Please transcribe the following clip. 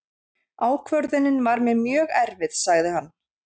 Ákvörðunin var mér mjög erfið, sagði hann.